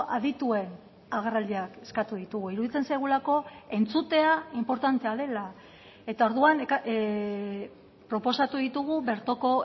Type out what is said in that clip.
adituen agerraldiak eskatu ditugu iruditzen zaigulako entzutea inportantea dela eta orduan proposatu ditugu bertoko